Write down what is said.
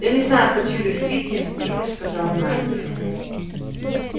я не знаю хочу ли в питер тихо сказал найд